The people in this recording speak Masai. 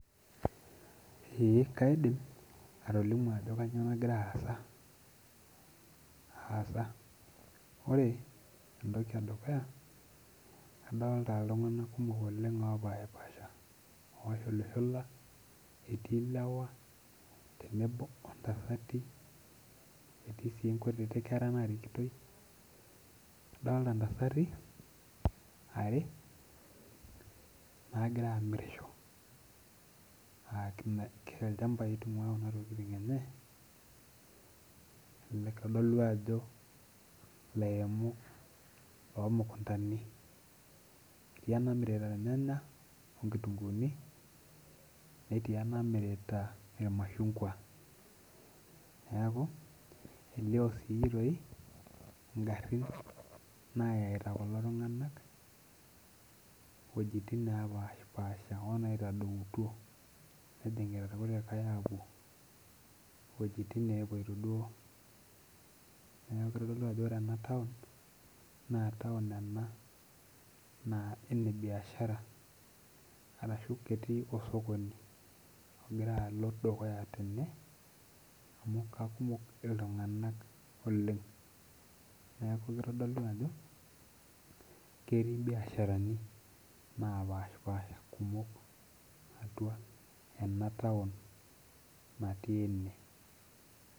Ee kaidim, atolimu ajo kanyioo nagira aasa. Ore entoki edukuya, kadolta iltung'anak kumok oleng opashipasha, oshulushula, etii lewa tenebo ontasati, etii si nkutiti kera narikitoi. Kadalta ntasati are, nagira amirisho. Ah ilchambai itung'ua kuna tokiting enye, kitodolu ajo ilairemok lomukuntani. Etii enamirita irnyanya onkitunkuuni, netii enamirita irmashungwa. Neeku, elio si toi, igarrin nayaita kulo tung'anak wojiting nepashipasha onaitadoutuo. Nejing irkulikae apuo wojiting nepoito duo. Neeku kitodolu ajo ore enataon, na taon ena naa kene biashara, arashu ketii osokoni ogira alo dukuya tene, amu kakumok iltung'anak oleng. Neeku kitodolu ajo, ketii ibiasharani napashipasha kumok atua enataon natii ene.